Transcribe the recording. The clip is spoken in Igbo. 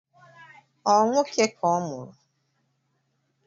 Ọ nwoke ka ọmụrụ?